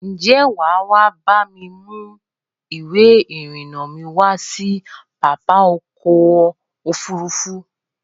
Ǹjẹ́ wà á bá mi mú ìwé-ìrìnnà mi wá sí pápá ọkọ̀-òfurufú?